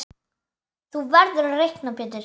Þú verður að reikna Pétur.